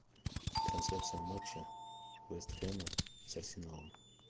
трансляция матча вест хэма с арсеналом